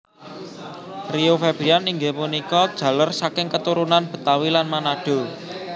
Rio Febrian inggih punika jaler saking keturunan Betawi lan Manado